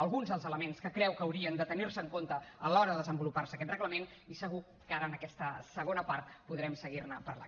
alguns dels elements que creu que haurien de tenir se en compte a l’hora de desenvolupar se aquest reglament i segur que ara en aquesta segona part podrem seguir ne parlant